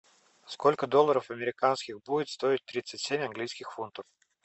сколько долларов американских будет стоить тридцать семь английских фунтов